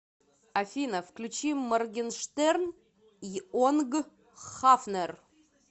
афина включи моргенштерн йонг хафнер